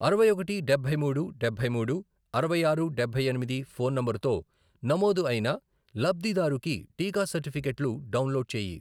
అరవై ఒకటి, డబ్బై మూడు, డబ్బై మూడు, అరవై ఆరు, డబ్బై ఎనిమిది, ఫోన్ నంబరుతో నమోదు అయిన లబ్ధిదారుకి టీకా సర్టిఫికేట్లు డౌన్లోడ్ చేయి.